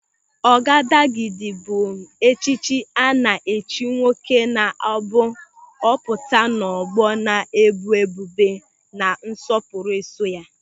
Ọgadagidi bụ echichi a na-echi nwoke na-abụ ọ pụta n'ọgbọ na-ebu ebube na nsọpụrụ eso ya.